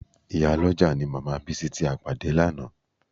Ìyálọ́jà ni màmá Bísí tí a pàdé lánàá